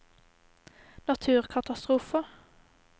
naturkatastrofer